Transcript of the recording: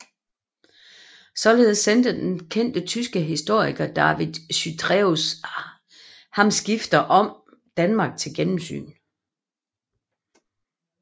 Således sendte den kendte tyske historiker David Chytræus ham skrifter om Danmark til gennemsyn